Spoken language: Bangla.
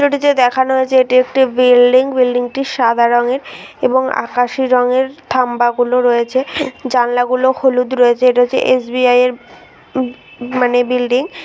চিত্রটিতে দেখানো হয়েছে এটি একটি বিল্ডিং বিল্ডিংটি সাদা রঙের এবং আকাশী রঙের খাম্বা গুলো রয়েছে জানালাগুলো হলুদ রয়েছে এটা হচ্ছে এস.বি.আই এর মানে বিল্ডিং ।